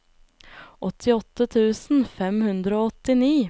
åttiåtte tusen fem hundre og åttini